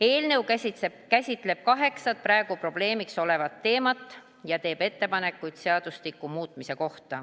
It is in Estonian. Eelnõu käsitleb kaheksat praegu probleemiks olevat teemat ja teeb ettepanekuid seaduste muutmiseks.